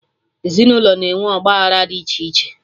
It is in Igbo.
Ezinụlọ na-enwe ọgba agbara dị iche iche